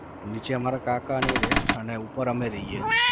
નીચે અમારા કાકાને એ રહે અને ઉપર અમે રહીએ